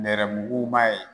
Nɛrɛmuguman ye.